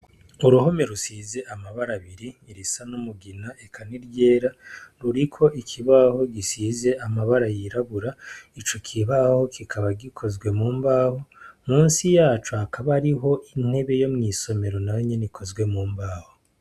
Uruhome rusize amabara abiri irisa nu mugina eka ni ryera ruriko ikibaho gisize amabara yirabura ico kibaho kikaba gikozwe mu mbaho musi yacu akaba ariho intebe yo mw'isomero na ro nyene ikozwe mu mbaho.